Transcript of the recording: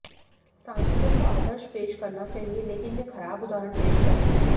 सांसदों को आदर्श पेश करना चाहिए लेकिन वे खराब उदाहरण पेश कर रहे हैं